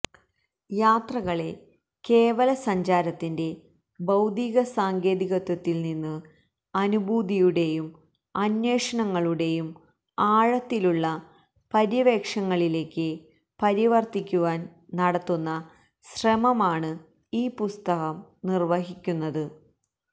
യാത്രകളെ കേവലസഞ്ചാരത്തിന്റെ ഭൌതിക സാങ്കേതികത്വത്തിൽ നിന്ന് അനുഭൂതിയുടെയും അന്വേഷണങ്ങളുടെയും ആഴത്തിലുള്ള പര്യവേക്ഷണങ്ങളിലേക്ക് പരിവർത്തിക്കുവാൻ നടത്തുന്ന ശ്രമമാണ് ഈ പുസ്തകം നിർവഹിക്കുന്നത്